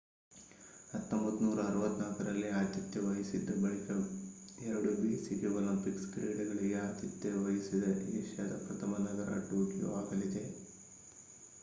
1964 ರಲ್ಲಿ ಆತಿಥ್ಯ ವಹಿಸಿದ್ದ ಬಳಿಕ ಎರಡು ಬೇಸಿಗೆ ಒಲಿಂಪಿಕ್ಸ್ ಕ್ರೀಡೆಗಳಿಗೆ ಆತಿಥ್ಯ ವಹಿಸಿದ ಏಷ್ಯಾದ ಪ್ರಥಮ ನಗರ ಟೋಕಿಯೊ ಆಗಲಿದೆ